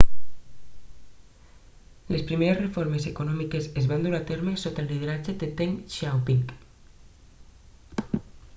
les primeres reformes econòmiques es van dur a terme sota el lideratge de deng xiaoping